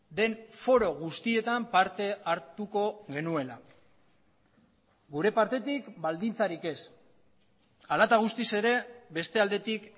den foro guztietan parte hartuko genuela gure partetik baldintzarik ez hala eta guztiz ere beste aldetik